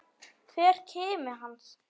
Hver kimi hans.